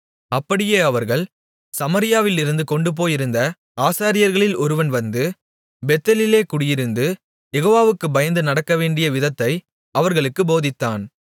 அப்படியே அவர்கள் சமாரியாவிலிருந்து கொண்டுபோயிருந்த ஆசாரியர்களில் ஒருவன் வந்து பெத்தேலிலே குடியிருந்து யெகோவாவுக்குப் பயந்து நடக்கவேண்டிய விதத்தை அவர்களுக்குப் போதித்தான்